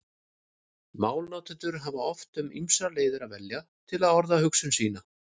Málnotendur hafa oft um ýmsar leiðir að velja til að orða hugsun sína.